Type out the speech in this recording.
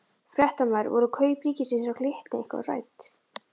Fréttamaður: Voru kaup ríkisins á Glitni eitthvað rædd?